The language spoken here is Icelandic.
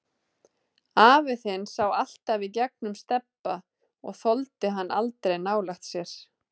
Afi þinn sá alltaf í gegnum Stebba og þoldi hann aldrei nálægt sér.